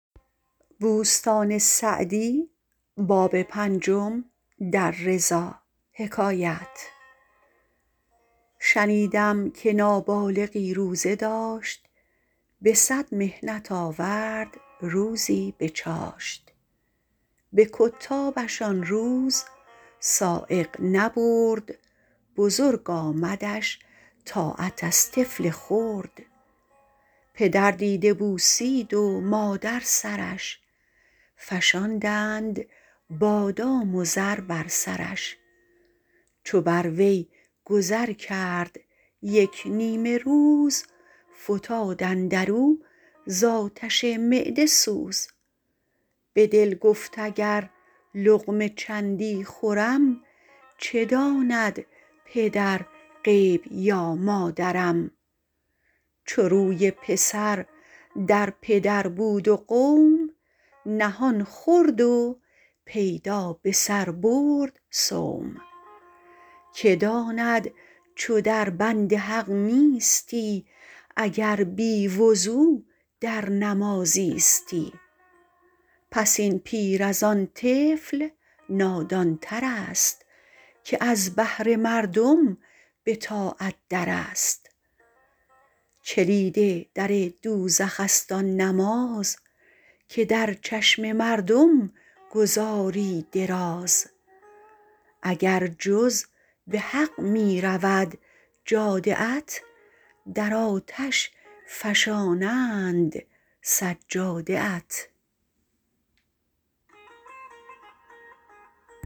شنیدم که نابالغی روزه داشت به صد محنت آورد روزی به چاشت به کتابش آن روز سایق نبرد بزرگ آمدش طاعت از طفل خرد پدر دیده بوسید و مادر سرش فشاندند بادام و زر بر سرش چو بر وی گذر کرد یک نیمه روز فتاد اندر او ز آتش معده سوز به دل گفت اگر لقمه چندی خورم چه داند پدر غیب یا مادرم چو روی پسر در پدر بود و قوم نهان خورد و پیدا به سر برد صوم که داند چو در بند حق نیستی اگر بی وضو در نماز ایستی پس این پیر از آن طفل نادان تر است که از بهر مردم به طاعت در است کلید در دوزخ است آن نماز که در چشم مردم گزاری دراز اگر جز به حق می رود جاده ات در آتش فشانند سجاده ات